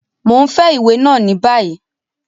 Mo ń fẹ iwe náa ni bayi!